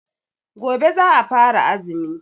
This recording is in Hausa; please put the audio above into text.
Gobe za'a fara azumi.